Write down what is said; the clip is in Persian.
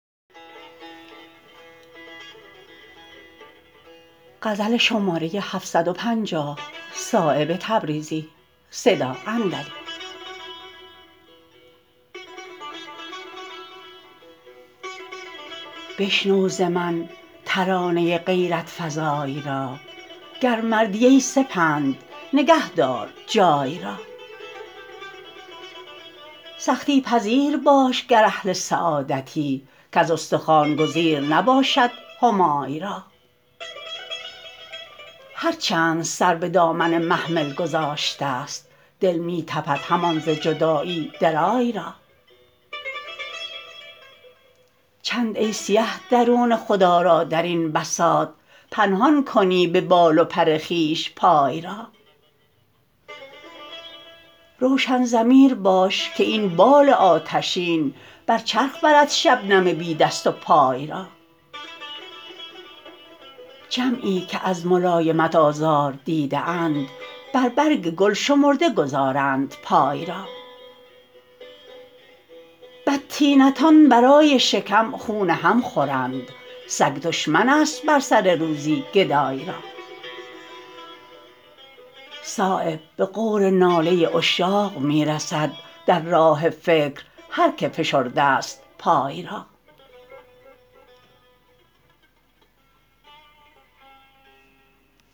بشنو ز من ترانه غیرت فزای را گر مردی ای سپند نگه دار جای را سختی پذیر باش گر اهل سعادتی کز استخوان گزیر نباشد همای را هر چند سر به دامن محمل گذاشته است دل می تپد همان ز جدایی درای را چند ای سیه درون خود آرا درین بساط پنهان کنی به بال و پر خویش پای را روشن ضمیر باش که این بال آتشین بر چرخ برد شبنم بی دست و پای را جمعی که از ملایمت آزار دیده اند بر برگ گل شمرده گذارند پای را بدطینتان برای شکم خون هم خورند سگ دشمن است بر سر روزی گدای را صایب به غور ناله عشاق می رسد در راه فکر هر که فشرده است پای را